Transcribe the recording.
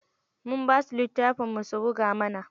Mun basu littafin mun su buga mana.